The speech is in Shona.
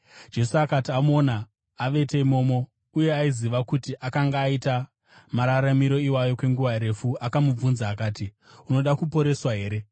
Jesu akati amuona avete imomo, uye aiziva kuti akanga aita mararamiro iwayo kwenguva refu, akamubvunza akati, “Unoda kuporeswa here?”